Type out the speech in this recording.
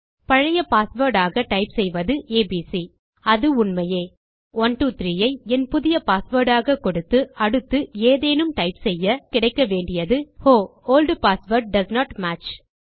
பழைய பாஸ்வேர்ட் ஆக டைப் செய்வது ஏபிசி அது உண்மையே மற்றும்123 ஐ என் புதிய பாஸ்வேர்ட் ஆக கொடுத்து அடுத்து ஏதேனும் டைப் செய்ய நமக்கு கிடைக்க வேண்டியது Oh old password doesn't match